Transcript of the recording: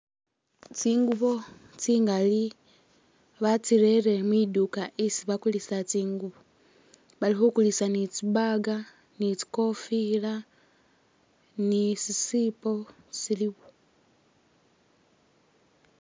Tsingubo tsingali batsirere mwiduka isii bakulisila tsingubo balikhukulisa ni'tsi bag tsi'kofila nisisipo siliwo